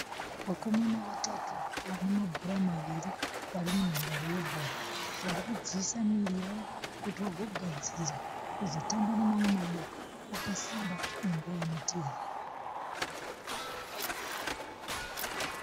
Vakomana vatatu vane mabhora maviri vari munhandare yebhora. Vari kudziisa muviri yavo kuti vagogadzirira kuzotamba nemamwe maboka vakasimba munguva inotevera.